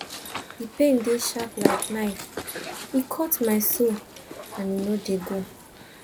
di pain dey sharp like knife e cut my soul and e no dey go